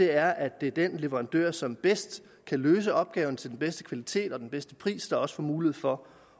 er at det er den leverandør som bedst kan løse opgaven til den bedste kvalitet og den bedste pris der også får mulighed for